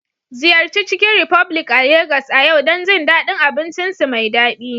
Ziyarci Chicken republic a Legas a yau don jin daɗin abincinsu mai daɗi